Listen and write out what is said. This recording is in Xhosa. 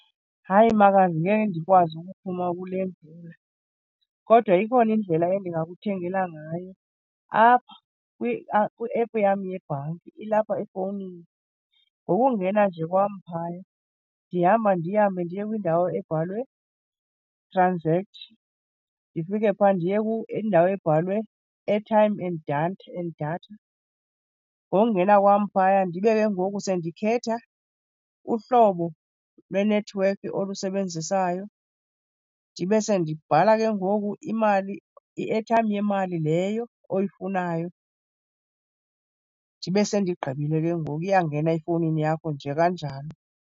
Hayi, makazi ngeke ndikwazi ukuphuma kule mvula. Kodwa ikhona indlela endingakuthengela ngayo apha kwi-app yam yebhanki, ilapha efowunini. Ngokungena nje kwam phaya ndihamba ndihambe ndiye kwiindawo ebhalwe transact. Ndifike phaa ndiye indawo ebhalwe airtime and datha and datha. Ngokungena wam phaya ndibe ke ngoku sendikhetha uhlobo lwenethiwekhi olusebenzisayo. Ndibe sendibhala ke ngoku imali, i-airtime yemali leyo oyifunayo. Ndibe sendigqibile ke ngoku, iyangena efowunini yakho nje kanjalo.